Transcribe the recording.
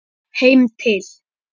Heim til